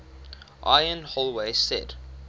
ian holloway said